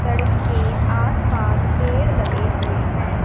सड़क के आसपास पेड़ लगे हुए हैं।